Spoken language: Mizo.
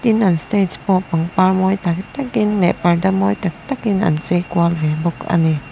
tin an stage pawh pangpar mawi tak tak in leh parda mawi tak tak in an chei kual ve bawk ani.